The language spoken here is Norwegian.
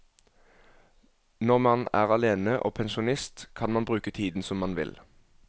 Når man er alene og pensjonist kan man bruke tiden som man vil.